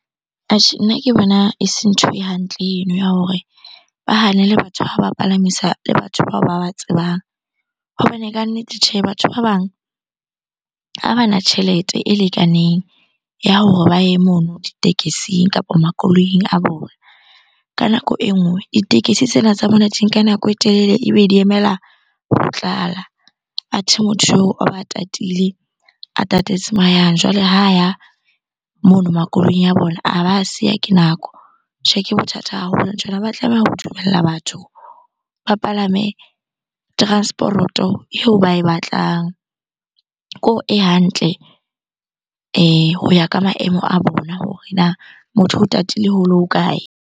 Atjhe, nna ke bona e se ntho e hantle eno ya hore ba hanele batho ha ba palamisa le batho bao ba ba tsebang. Hbane kannete tjhe, batho ba bang ha bana tjhelete e lekaneng ya hore ba ye mono ditekesing kapa makoloing a bona. Ka nako e nngwe ditekesi tsena tsa bona di nka nako e telele ebe di emela ho tlala. Athe motho eo tatile, a tatetse moo a yang. Jwale ha ya mono makoloing a bona, a ba a siya ke nako. Tjhe, ke bothata haholo nthwena. Ha ba tlameha ho dumella batho ba palame transporoto eo ba e batlang, e hantle ho ya ka maemo a bona hore na motho o tatile ho le hokae?